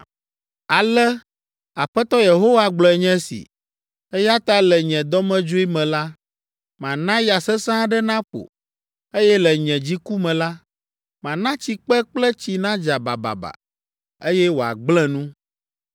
“Ale Aƒetɔ Yehowa gblɔe nye si, ‘Eya ta le nye dɔmedzoe me la, mana ya sesẽ aɖe naƒo, eye le nye dziku me la, mana tsikpe kple tsi nadza bababa, eye woagblẽ nu.